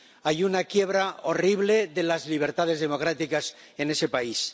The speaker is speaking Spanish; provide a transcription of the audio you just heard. Hay una quiebra horrible de las libertades democráticas en ese país.